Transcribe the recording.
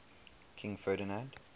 king ferdinand